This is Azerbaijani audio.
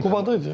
Qubada idi?